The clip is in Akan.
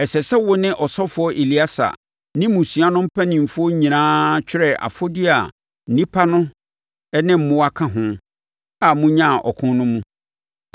“Ɛsɛ sɛ wo ne ɔsɔfoɔ Eleasa ne mmusua no mpanimfoɔ nyinaa twerɛ afodeɛ a nnipa ne mmoa ka ho a monyaa no ɔko no mu.